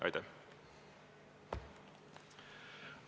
Aitäh!